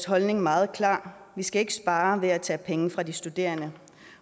holdning er meget klar vi skal ikke spare ved at tage penge fra de studerende